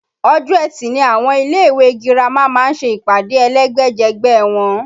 Ọjọ́ etì ni àwọn ilé ìwé girama máa ń ṣe ìpàdé ẹlẹ́gbẹ́jẹgbẹ́ wọn